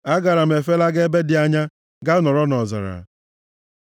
Agaara m efelaga ebe dị anya, ga nọrọ nʼọzara; Sela